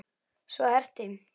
Svo herti